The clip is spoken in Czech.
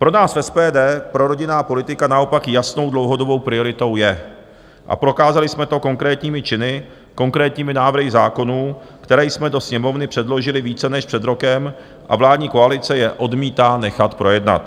Pro nás v SPD prorodinná politika naopak jasnou dlouhodobou prioritou je a prokázali jsme to konkrétními čin, konkrétními návrhy zákonů, které jsme do Sněmovny předložili více než před rokem, a vládní koalice je odmítá nechat projednat.